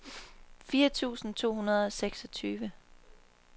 fire tusind to hundrede og seksogtyve